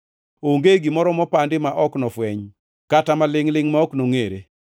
Onge gimoro mopandi ma ok nofweny, kata malingʼ-lingʼ ma ok nongʼere.